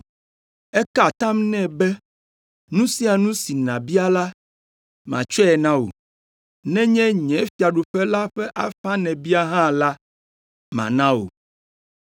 Eka atam nɛ be, “Nu sia nu si nàbia la, matsɔe na wò; nenye nye fiaɖuƒe la ƒe afã nèbia hã la, mana wò.”